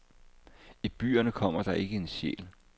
I byerne kommer der ikke en sjæl.